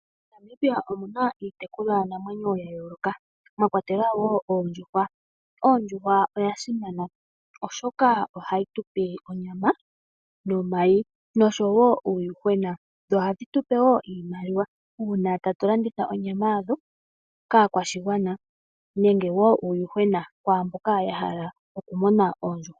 MoNamibia omu na iitekulwa namwenyo ya yooloka, mwa kwatelwa wo Oondjuhwa. Ondjuhwa oya simana oshoka ohayi tupe onyama nomayi nosho wo uuyuhwena. Ohadhi tupe woo iimaliwa uuna tatu landitha onyama yadho kaakwashigwana, neneg woo uuyuhwena ku mboka ya hala okumuna Oondjuhwa.